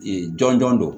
jɔnjɔn do